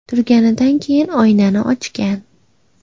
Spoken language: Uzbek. Turganidan keyin oynani ochgan.